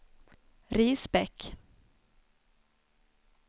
Risbäck